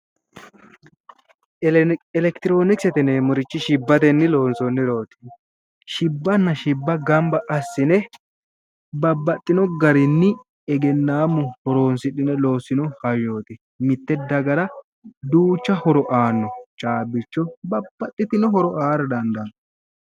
Elekitirionokisete yinnewmmoti shibbatenni loonsonirichoti shibbanna shibba gamba assine babbaxino garinni egennamu horonsidhino loosino hayyoti, mite dagara duucha horo aano ,caabbicho babbaxitino horo aara dandaano.